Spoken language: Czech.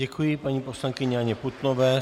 Děkuji paní poslankyni Anně Putnové.